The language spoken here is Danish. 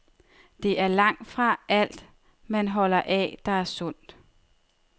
Det er langtfra alt, man holder af, der er sundt.